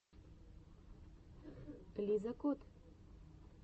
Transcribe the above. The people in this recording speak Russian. лиза кот